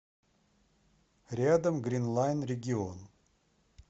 рядом гринлайн регион